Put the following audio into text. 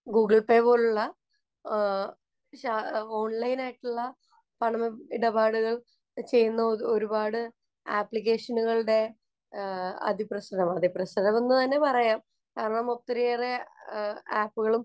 Google‍ Pay പോലുള്ള ഓണ്‍ലൈനായിട്ടുള്ള പണമിടപാടുകള്‍ ചെയ്യുന്ന ഒരു പാട് ആപ്ലിക്കേഷനുകളുടെ അതിപ്രസരം, അതിപ്രസരമെന്നു തന്നെ പറയാം. കാരണം ഒത്തിറിയേറെ ആപ്പുകളും